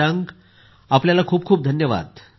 शशांक आपले खूप खूप धन्यवाद